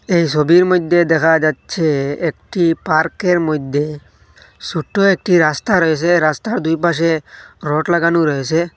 এই সবির মইধ্যে দেখা যাচ্ছে একটি পার্কের মইধ্যে সোট্টো একটি রাস্তা রয়েসে রাস্তার দুই পাশে রট লাগানো রয়েসে।